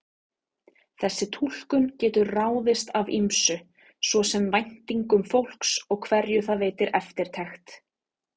Þessi túlkun getur ráðist af ýmsu, svo sem væntingum fólks og hverju það veitir eftirtekt.